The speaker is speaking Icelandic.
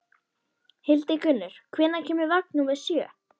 Hildigunnur, hvenær kemur vagn númer sjö?